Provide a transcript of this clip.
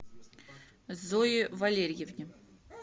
зое валерьевне